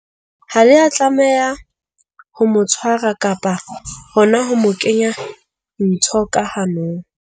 Ha le a tlameha ho mo tshwara kapa hona ho mo kenya ntho ka hanong.